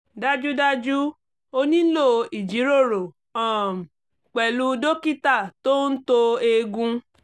dájúdájú o nílò ìjíròrò um pẹ̀lú dókítà tó ń to eegun